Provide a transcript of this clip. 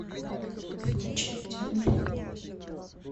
включай темный легион